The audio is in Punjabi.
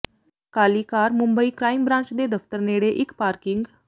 ਕਾਲੀ ਕਾਰ ਮੁੰਬਈ ਕ੍ਰਾਈਮ ਬ੍ਰਾਂਚ ਦੇ ਦਫਤਰ ਨੇੜੇ ਇਕ ਪਾਰਕਿੰਗ